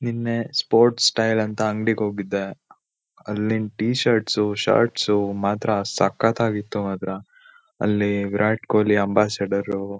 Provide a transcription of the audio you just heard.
ನಿನ್ನೆ sports tyre ಅಂತ ಅಂಗಡಿ ಗೆ ಹೋಗಿದ್ದೆ ಅಲ್ಲಿನ್ ಟಿಶರ್ಟ್ ಸು ಶಾರ್ಟ್ಸ್ ಸು ಮಾತ್ರ ಸಕ್ಕತ್ತಾ ಗಿತ್ತು ಮಾತ್ರ ಅಲ್ಲಿ ವಿರಾಟ್ ಕೊಲ್ಲಿ ಅಂಬಾಸಿಡರು